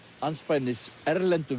andspænis erlendum